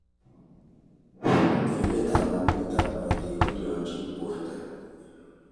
Teleletab mong'unetab korotik kolyangjin borto?